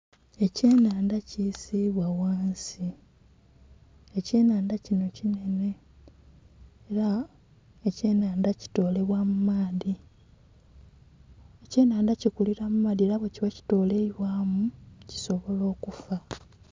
Ekye nhandha kisibwa ghansi ekye nhandha kinho kinhene era ekye nhandha kitolebwa mu maadhi ekye nhandha ekikilila mu maadhi era bwe kiba kitoleibwamu kisobola okufa.